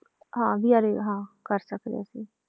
ਹਾਂ ਵੀ ਅਰੇ ਹਾਂ ਕਰ ਸਕਦੇ ਹਾਂ ਅਸੀਂ